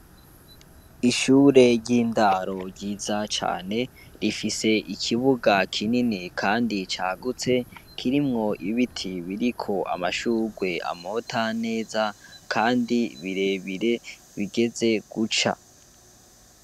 Ishure ry'indaro ryiza cane rifise ikibuga kinini kandi cagutse kirimwo ibiti biriko amashugwe amota neza kandi birebire bigeze guca.